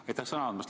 Aitäh sõna andmast!